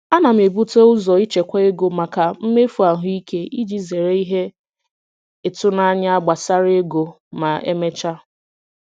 Ana m ebute ụzọ ichekwa ego maka mmefu ahụike iji zere ihe ịtụnanya gbasara ego ma emechaa.